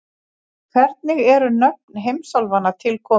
Hvernig eru nöfn heimsálfanna til komin?